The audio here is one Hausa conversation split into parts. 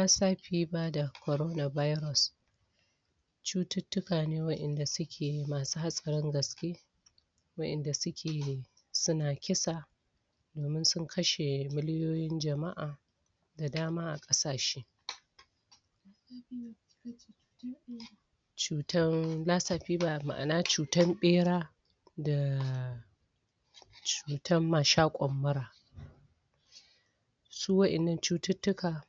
Lasa fiba da kuma korona viros cutittika ne wanda suke masu hatsarin gaske wadanda suke suna kisa domin sun kashe milyoyin jama'a da dama a kasashe cutan lasa fiba ma'ana cutan bera da dan mashakon mura su wadannan cutiktukan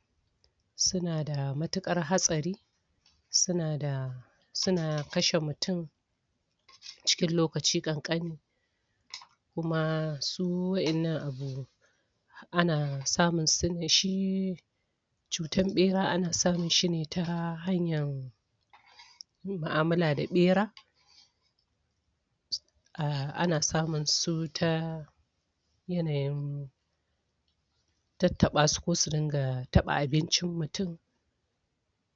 suna da matukar hatsari suna da suna kashe mutum cikin lokaci kankane kuma su wadannan abu ana samun su ne, shi cutan bera ana samun shine ta hanyan mu'amulla da bera a ana samun su ta yanayin tattaba su ko su ringa taba abincin muntum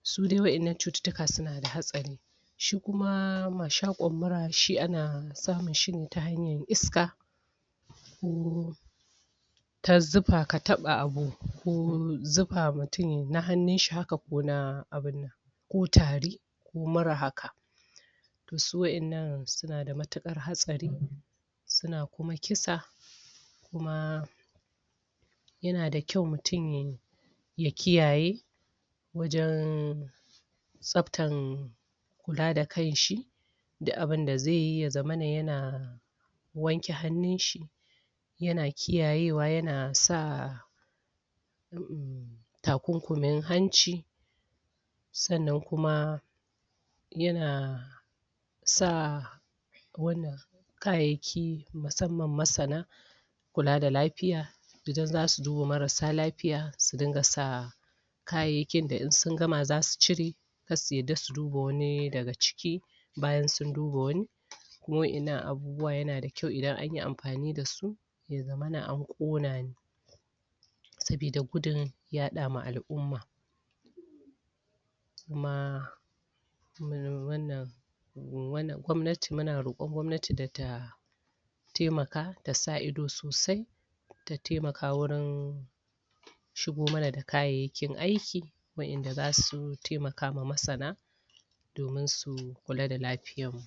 su dai waddan nan cutuktuka suna da hatsari shi kuma mashakon mura shi ana samun shine ta hanyar iska ko ta zufa ka taba abu ko zufa mutum na hannu shi haka ko ta tari ko mura haka su wadannan suna da matukar hatsari suna kuma kisa kuma yana da kyau mutum ya kiyaye wajen tsabtar kula da kanshi duk abinda zaiyi ya zamana yana wanke hannun shi yana kiyayewa yana sa yana sa takunkumin hanci sannan kuma yana sa kayayyaki musamman masana kula da lafiya idan zasu duba marar lafiya su dinga sa kayayyakin da in sun gama zasu cire kada su yadda su duba wani daga ciki bayan sun duba wani wadannan abubuwa yana da kyau idan anyi amfani da su ya zamana an kona ne sabida gudun yada ma al'umma kuma wannan gwanmati muna rokon gwamnati da ta taimaka ta sa ido sosai wajen taimaka wurin shigo mana da kayyayakin aiki wadanda zasu taimaka ma masana domin su kula da lafiyar mu